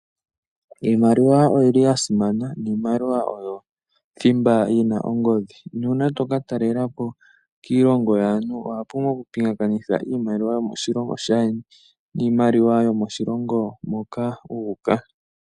Iimaliwa oyo yili yasimana niimaliwa oyo thimba yina ongodhi. Nuuna toka talelapo kiilongo yaantu owa pumbwa oku pingakanitha iimaliwa yomoshilongo shaayeni niimaliwa yomoshilongo moka wu uka.